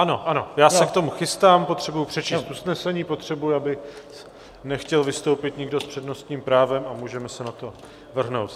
Ano, ano, já se k tomu chystám, potřebuji přečíst usnesení, potřebuji, aby nechtěl vystoupit nikdo s přednostním právem, a můžeme se na to vrhnout.